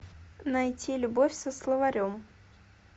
найти любовь со словарем